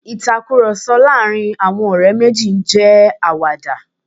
Ìtakùròsọ láàárín àwọn ọ̀ré máa n jẹ́ àwàdà